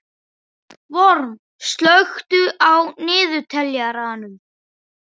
Vorm, slökktu á niðurteljaranum.